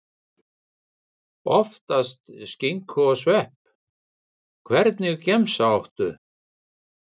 Oftast skinku og svepp Hvernig gemsa áttu?